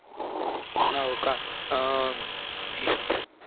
होऊ का अं